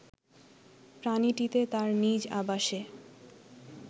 প্রাণীটিতে তার নিজ আবাসে